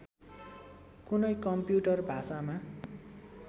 कुनै कम्प्युटर भाषामा